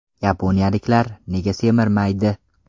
Yaponiyaliklar nega semirmaydi?